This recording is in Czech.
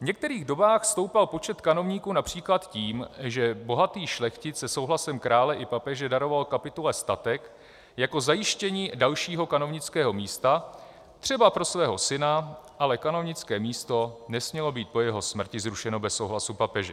V některých dobách stoupal počet kanovníků například tím, že bohatý šlechtic se souhlasem krále i papeže daroval kapitule statek jako zajištění dalšího kanovnického místa, třeba pro svého syna, ale kanovnické místo nesmělo být po jeho smrti zrušeno bez souhlasu papeže.